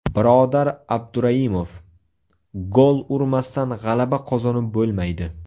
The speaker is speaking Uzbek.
Birodar Abduraimov: Gol urmasdan g‘alaba qozonib bo‘lmaydi.